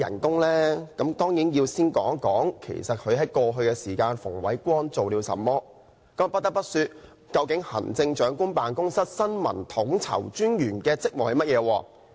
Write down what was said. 當然要先談談其實馮煒光過去做了甚麼？不得不提的是，究竟行政長官辦公室新聞統籌專員的職務是甚麼？